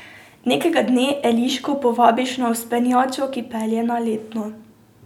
Nekega dne Eliško povabiš na vzpenjačo, ki pelje na Letno.